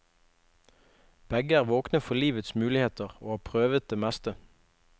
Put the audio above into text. Begge er våkne for livets muligheter, og har prøvet det meste.